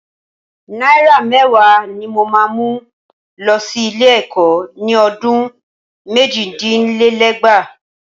Náírà mẹ́wàá ni mo máa mú lọ sí ilé-ẹ̀kọ́ ni ọdún méjìdínlẹ́gbàá.